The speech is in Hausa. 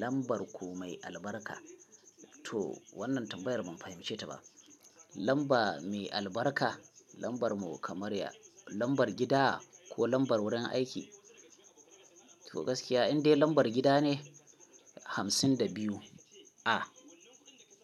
Lambar ku mai albarka? To wannan tambayar ban fahimce ta ba. Lamba mai albarka, lambar mu kamar ya, lambar gida ko lambar wurin aiki? To gaskiya indai lambar gida ne, hamsin da biyu. A.